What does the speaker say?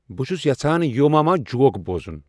بہٕ چُُھس یژھان یو ماما جوک بوزُن ۔